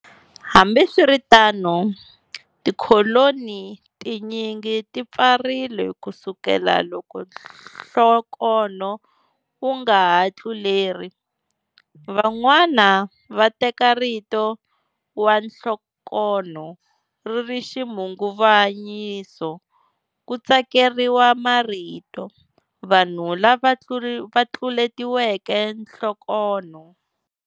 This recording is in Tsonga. Hambiswiritano, tikholoni tinyingi ti pfarile kusukela loko nhlokonho wu nga ha tluleri. Van'wana va teka rito wanhlokonho ri ri xikhunguvanyiso, ku tsakeriwa marito" Vanhu lava tluletiweke nhlokonho."